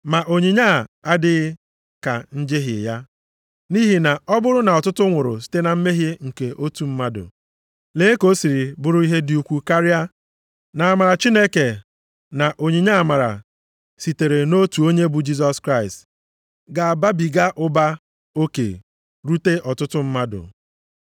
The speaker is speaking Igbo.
Ma onyinye a adịghị ka njehie ya. Nʼihi na ọ bụrụ na ọtụtụ nwụrụ site na mmehie nke otu mmadụ, lee ka o siri bụrụ ihe dị ukwu karịa na amara Chineke na onyinye amara sitere nʼotu onye bụ Jisọs Kraịst ga-ababiga ụba oke rute ọtụtụ mmadụ.